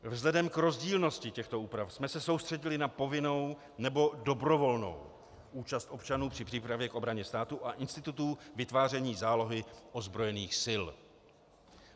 Vzhledem k rozdílnosti těchto úprav jsme se soustředili na povinnou nebo dobrovolnou účast občanů při přípravě k obraně státu a institutů vytváření zálohy ozbrojených sil.